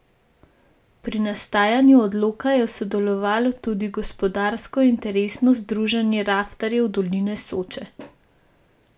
Pri nastajanju odloka je sodelovalo tudi Gospodarsko interesno združenje raftarjev Dolina Soče.